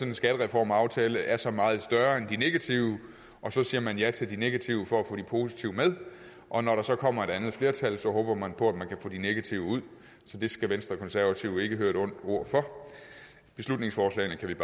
en skattereformaftale er så meget større end de negative og så siger man ja til de negative for at få de positive med og når der så kommer et andet flertal håber man på at man kan få de negative ud så det skal venstre og konservative ikke høre et ondt ord for beslutningsforslagene kan